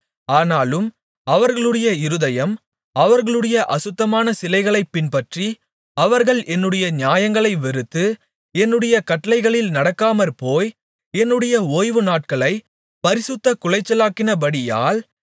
ஆனாலும் அவர்களுடைய இருதயம் அவர்களுடைய அசுத்தமான சிலைகளைப் பின்பற்றி அவர்கள் என்னுடைய நியாயங்களை வெறுத்து என்னுடைய கட்டளைகளில் நடக்காமற்போய் என்னுடைய ஓய்வுநாட்களைப் பரிசுத்தக்குலைச்சலாக்கினபடியால்